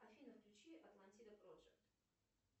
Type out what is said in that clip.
афина включи атлантида прожект